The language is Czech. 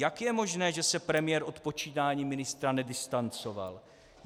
Jak je možné, že se premiér od počínání ministra nedistancoval?